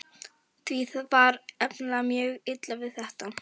Því var nefnilega mjög illa við þetta.